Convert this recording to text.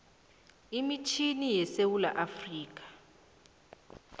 imitjhini yesewula afrika